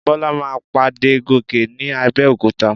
Bọ́lá máa pàdé Gòkè ní Abẹ́òkúta.